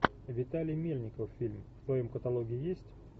виталий мельников фильм в твоем каталоге есть